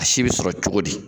A si bɛ sɔrɔ cogo di?